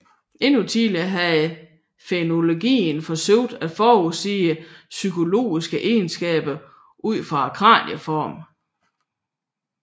Endnu tidligere havde frenologien forsøgt at forudsige psykologiske egenskaber ud fra kranieformer